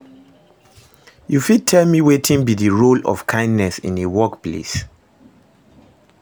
you fit tell me wetin be di role of kindness in a workplace?